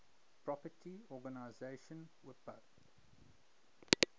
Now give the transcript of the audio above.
property organization wipo